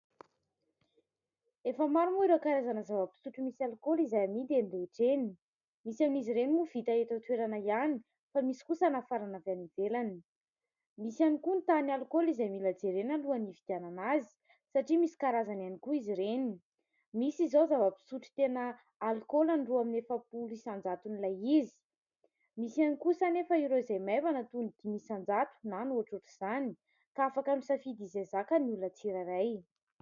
Efa maro moa ireo karazana zava-pisotro misy alkaola, izay amidy eny rehetra eny. Misy amn'izy ireny moa no vita eto an-toerana ihany, fa misy kosa nafarana avy any ivelany. Misy ihany koa ny tahan'ny alkaola izay mila jerena alohan'ny ividianana azy, satria misy karazany ihany koa izy ireny. Misy izao zava-pisotro tena alkaola ny roa amby efapolo isanjaton'ilay izy, misy ihany kosa anefa ireo izay maivana toy ny dimy isanjato, na ny ohatrohatr'izany, ka afaka misafidy izay zaka ny olona tsirairay.